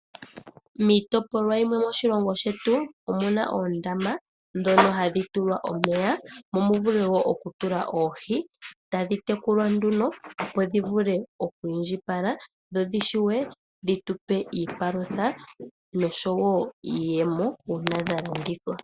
Miitopolwa yimwe moshilongo shetu omuna oondama ndhono hadhi tulwa omeya, mo mu vule wo oku tula oohi tadhi tekulwa nduno opo dhi vule oku indjipala, dho dhi shiwe dhi tupe iipalutha noshowo iiyemo uuna dha longithwa.